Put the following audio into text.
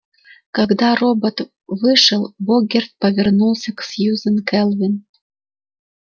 когда робот вышел богерт повернулся к сьюзен кэлвин